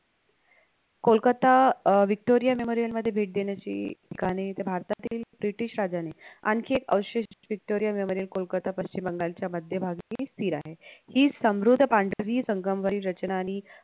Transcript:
कोलकत्ता अं memorial मध्ये भेट देण्याची ठिकाणे इथे भारतातील british राजाने आणखी एक अवशेष memorial कोलकत्ता पश्चिम बंगालच्या मध्यभागी स्थिर आहे हि समृद्ध पांढरी संगमरवरी रचना आणि